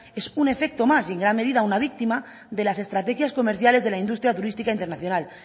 es un efecto más y en gran medida una víctima de las estrategias comerciales de la industria turística internacional